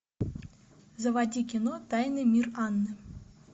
заводи кино тайный мир анны